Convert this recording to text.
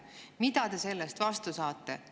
Mida te selle eest vastu saate?